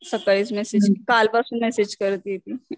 सकाळीच मेसेज, कालपासून मेसेज करते ती.